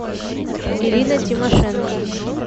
ирина тимошенко